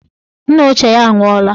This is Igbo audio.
Nna ya ochie nwụọla